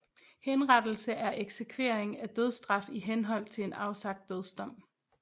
Henrettelse er eksekvering af dødsstraf i henhold til en afsagt dødsdom